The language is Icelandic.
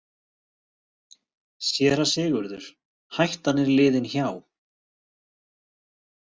SÉRA SIGURÐUR: Hættan er liðin hjá!